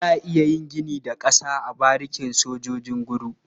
Za a yi gini da ƙasa a barikin sojan Nguru.